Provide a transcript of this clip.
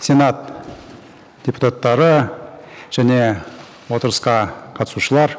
сенат депутаттары және отырысқа қатысушылар